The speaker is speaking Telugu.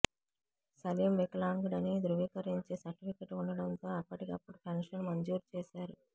సలీమ్ వికలాంగుడని ధ్రువీకరించే సర్టిఫికెట్ ఉండడంతో అప్పటికప్పుడు పెన్షన్ మంజూరు చేశారు